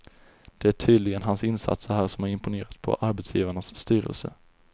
Det är tydligen hans insatser här som imponerat på arbetsgivarnas styrelse.